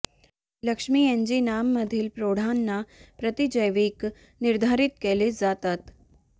लक्ष्मी एन्जिनांमधील प्रौढांना प्रतिजैविक निर्धारित केले जातात